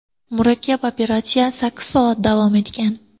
Murakkab operatsiya sakkiz soat davom etgan.